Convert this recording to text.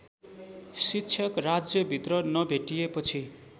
शिक्षक राज्यभित्र नभेटिएपछि